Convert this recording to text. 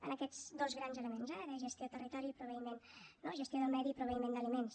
en aquests dos grans elements eh de gestió de territori i proveïment no gestió del medi i proveïment d’aliments